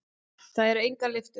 Það eru engar lyftur.